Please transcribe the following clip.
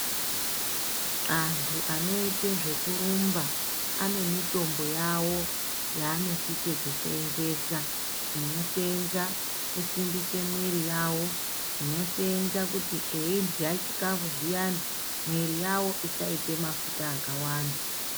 Antu anoite zvekurumba ane mitombo yawo yanosise kusenzesa inosenza kusimbisa mwiri yavo inosenza kuti eihya chikafu zviyani mwiri yavo isaita mafuta akawanda.